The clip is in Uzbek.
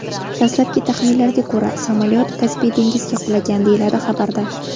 Dastlabki taxminlarga ko‘ra, samolyot Kaspiy dengiziga qulagan”, deyiladi xabarda.